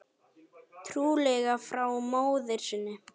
Trúlega frá móður sinni.